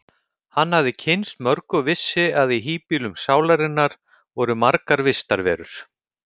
Hann hafði kynnst mörgu og vissi að í híbýlum sálarinnar voru margar vistarverur.